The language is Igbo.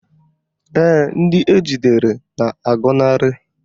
Ee, ndị ejidere na-agọnarị